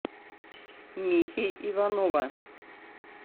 михи иванова